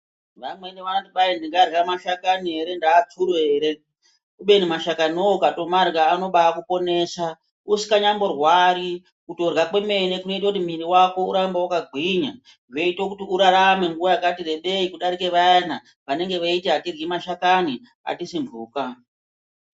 Vamweni vanoti kwai ndingarya mashakani ere ndatsuro ere. Kubeni mashakani vovo ukatomarya anobakuponesa usinganyamborwari kutorya kwemene kunoita kuti mwiri vako urambe vakagwinya. Zveiita kuti urarame nguva yakati rebei kudarika vayana vanenge vaiti hatiryi mashakani hatisi mhuka.